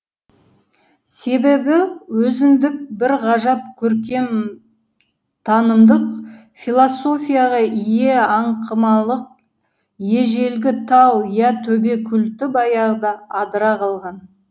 себебі өзіндік бір ғажап көркемтанымдық философияға ие аңқымалық ежелгі тау я төбе культі баяғыда адыра қалған